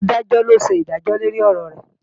Adájọ́ ló ṣèdájọ́ lórí ọ̀rọ̀ rẹ̀